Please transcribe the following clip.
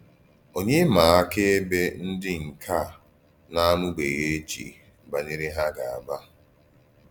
Ònyé mà àkàèbè ndí nkè à na-àmùbèghìèjì banyere hà gà-àgbà?